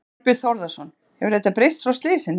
Þorbjörn Þórðarson: Hefur þetta breyst frá slysinu?